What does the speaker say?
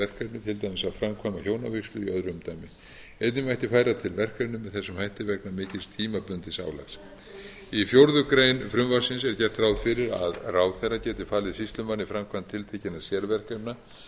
verkefni til dæmis að framkvæma hjónavígslu í öðru umdæmi einnig mætti færa til verkefni með þessum hætti vegna mikils tímabundins álags í fjórða grein frumvarpsins er gert ráð fyrir að ráðherra geti falið sýslumanni framkvæmd tiltekinna sérverkefna